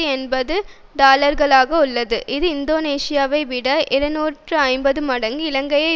எண்பது டாலர்களாக உள்ளது இது இந்தோனேஷியாவைவிட இருநூற்றி ஐம்பது மடங்கும் இலங்கையை